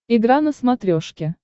игра на смотрешке